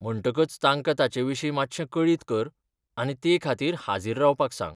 म्हणटकच तांका ताचेविशीं मात्शें कळीत कर आनी ते खातीर हाजीर रावपाक सांग.